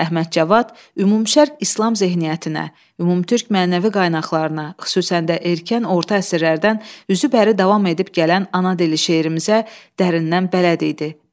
Əhməd Cavad ümümşərq İslam zehniyyətinə, ümümtürk mənəvi qaynaqlarına, xüsusən də erkən orta əsrlərdən üzü bəri davam edib gələn ana dili şeirimizə dərindən bələd idi.